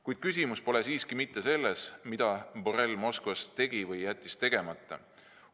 Kuid küsimus pole mitte selles, mida Borrell Moskvas tegi või tegemata jättis.